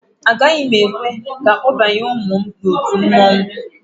Agaghị m ekwe ka akpọbaye ụmụ m n'otu mmanwụ